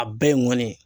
A bɛɛ ye n ŋɔni